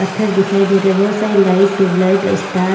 पत्थर दिखाई दे रहे बहोत सारी लाइट ट्यूब लाइट स्टार --